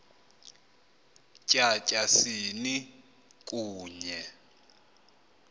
tya tyasini kunye